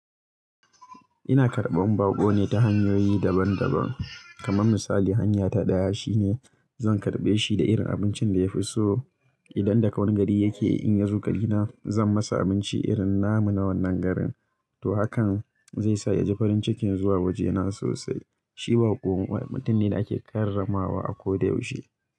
Ina karɓan baƙo ne ta hanyoyi daban daban, kaman misali hanya ta ɗaya shine zan karɓe shi da irin abincin da ya fi so. Idan daga wani gari yake in ya zo gina, zan masa abinci irin namu na wannan garin. To hakan zai sa ya ji farin cikin zuwa wajena sosai. Shi baƙo mutum ne da ake karramawa a ko da yaushe.